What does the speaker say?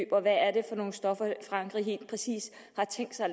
og hvad er det for nogle stoffer frankrig helt præcist har tænkt sig